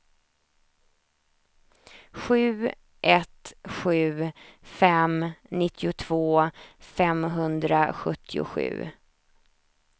sju ett sju fem nittiotvå femhundrasjuttiosju